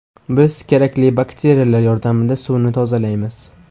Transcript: Biz kerakli bakteriyalar yordamida suvni tozalaymiz.